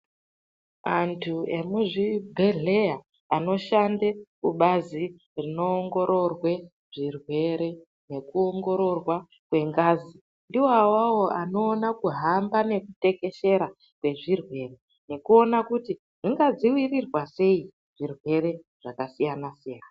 Antu emuzvibhedhlera anoshande kubazi rinoongororwe zvirwere nekuongororwa kwengazi, iwawawo anoona kuhamba nekutekeshera nezvirwere nekuona kuti zvingadzivirirwa seyi zvirwere zvakasiyana-siyana.